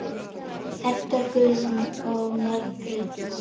Edda Guðrún og Margrét Pála.